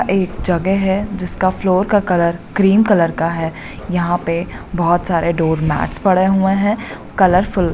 एक जगह है जिसका फ्लोर का कलर क्रीम कलर का है यहाँ पे बहुत सारा डोर मेट पड़े हुए है कलरफूल ।